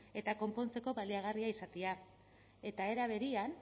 eta konpontzeko baliagarria izatea eta era berean